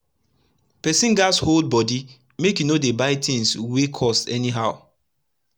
pesin gats hold bodi make e no dey buy tins wey cost any how